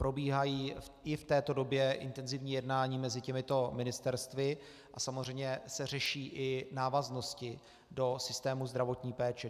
Probíhají i v této době intenzivní jednání mezi těmito ministerstvy a samozřejmě se řeší i návaznosti do systému zdravotní péče.